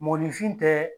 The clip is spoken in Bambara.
Mɔgɔninfin tɛ